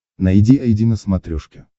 найди айди на смотрешке